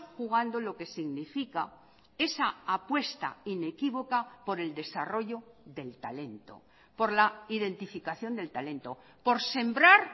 jugando lo que significa esa apuesta inequívoca por el desarrollo del talento por la identificación del talento por sembrar